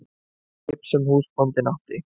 Skip sem húsbóndinn átti?